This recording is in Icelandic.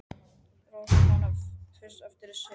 Rósa man fyrst eftir sér í vöggu!